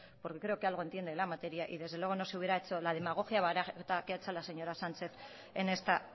porque creo que algo entiende en la materia y desde luego no se hubiera la demagogia barata que ha hecho la señora sánchez en esta